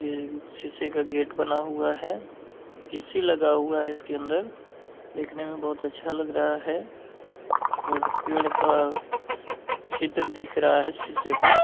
ये शीशे का गेट बना हुआ है ए.सी. लगा हुआ है इसके अंदर देखने में बहुत अच्छा लग रहा है और पेड़ का चित्र दिख रहा है शीशे पे।